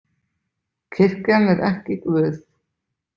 Kirkjan er ekki Guð.